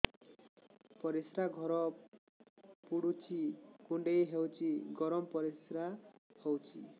ପରିସ୍ରା ଘର ପୁଡୁଚି କୁଣ୍ଡେଇ ହଉଚି ଗରମ ପରିସ୍ରା ହଉଚି